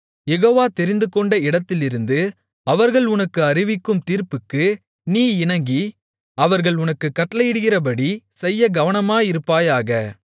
யெகோவா தெரிந்துகொண்ட இடத்திலிருந்து அவர்கள் உனக்கு அறிவிக்கும் தீர்ப்புக்கு நீ இணங்கி அவர்கள் உனக்குக் கட்டளையிடுகிறபடி செய்யக் கவனமாயிருப்பாயாக